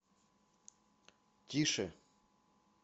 тише